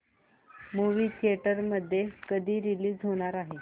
movie theatre मध्ये कधी release होणार आहे